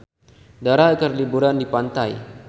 Dara keur liburan di pantai